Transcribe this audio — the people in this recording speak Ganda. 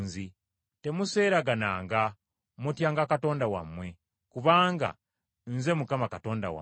Temuseeragananga; mutyanga Katonda wammwe, kubanga Nze Mukama Katonda wammwe.